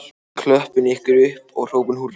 Við klöppum ykkur upp og hrópum húrra